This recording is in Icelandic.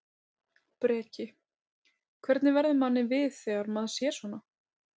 Breki: Hvernig verður manni við þegar maður sér svona?